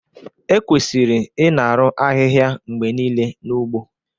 Ekwesịrị ịna-arụ ahịhịa mgbe niile n'ugbo